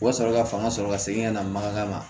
U ka sɔrɔ ka fanga sɔrɔ ka segin ka na mankan ma